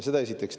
Seda esiteks.